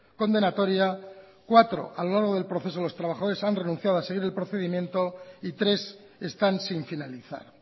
condenatoria cuatro a lo largo del proceso los trabajadores han renunciado a seguir el procedimiento y tres están sin finalizar